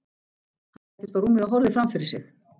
Hann settist á rúmið og horfði fram fyrir sig.